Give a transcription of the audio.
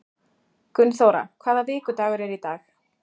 Gunnþóra, hvaða vikudagur er í dag?